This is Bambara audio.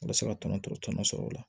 U bɛ se ka tɔnɔ tɔrɔ tɔnɔ sɔrɔ o la